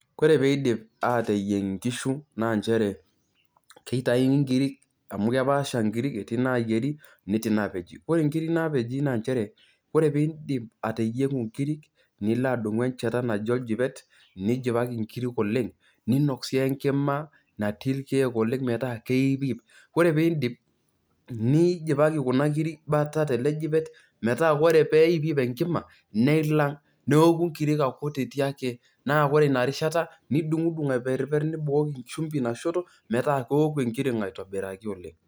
Koree peidip ateyieng nkishu na nchere keitauni nkirik amu kepaasha nkirik, etii nayieri netii napeji, ore nkirik napeji na nchere idim ateyiengu nkirik nilo adumu enchata naji oljipet nilo apik nkirik oleng niinok sii enkima natii rkiek oleng metaa keipiip, ore peindip, nijipaki kunakirik bata telejipet metaa ore peipiip enkima neilang neoku tinakutiti ake na ore inarishata nitum aitobiraki oleng.